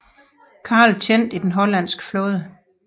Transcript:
Carl tjente i den hollandske flåde